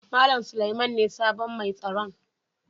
Mallam Suleiman ne sabon mai tsaron.